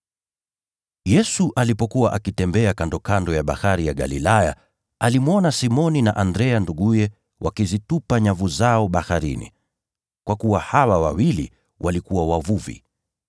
Yesu alipokuwa akitembea kando ya Bahari ya Galilaya, aliwaona Simoni na Andrea nduguye wakizitupa nyavu zao baharini, kwa kuwa wao walikuwa wavuvi.